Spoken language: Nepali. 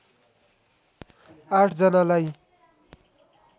आठ जनालाई